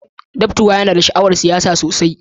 Datapwa yana da sha'awar siyasa sosai.